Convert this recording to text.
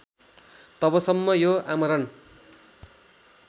तबसम्म यो आमरण